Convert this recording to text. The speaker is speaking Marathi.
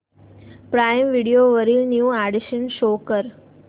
प्राईम व्हिडिओ वरील न्यू अॅडीशन्स शो कर